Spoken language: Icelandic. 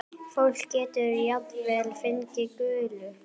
Fólk getur jafnvel fengið gulu.